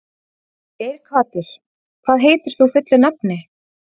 Geirhvatur, hvað heitir þú fullu nafni?